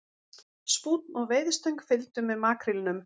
Spúnn og veiðistöng fylgdu með makrílnum